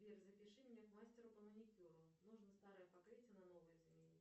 сбер запиши меня к мастеру по маникюру нужно старое покрытие на новое заменить